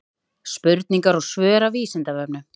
Spurningar og svör af Vísindavefnum.